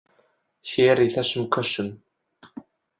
Hér í þessum kössum!